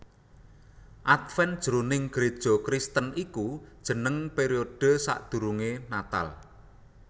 Adven jroning Gréja Kristen iku jeneng periode sadurungé Natal